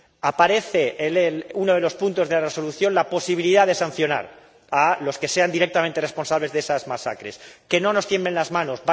Aparece en uno de los puntos de la Resolución la posibilidad de sancionar a los que sean directamente responsables de esas masacres. ¡Que no nos tiemblen las manos!